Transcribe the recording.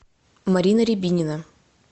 марина рябинина